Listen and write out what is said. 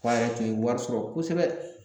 Fa yɛrɛ tun ye wari sɔrɔ kosɛbɛ